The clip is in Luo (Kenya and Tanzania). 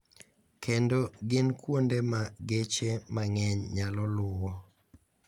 Kendo gin kuonde ma geche mang`eny nyalo luwo.